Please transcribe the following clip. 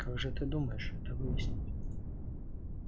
как же ты думаешь это выяснить